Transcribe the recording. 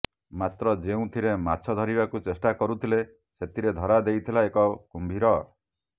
ମାତ୍ର ଯେଉଁଥିରେ ମାଛ ଧରିବାକୁ ଚେଷ୍ଟା କରୁଥିଲେ ସେଥିରେ ଧରାଦେଇଥିଲା ଏକ କୁମ୍ଭୀର